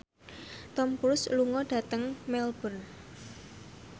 Tom Cruise lunga dhateng Melbourne